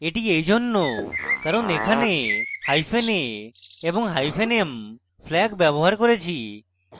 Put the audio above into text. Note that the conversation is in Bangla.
এটি এইজন্য কারণ এখানে hyphen a এবং hyphen m flags ব্যবহার করেছি